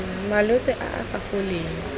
malwetse a a sa foleng